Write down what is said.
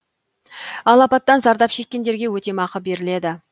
ал апаттан зардап шеккендереге өтемақы беріледі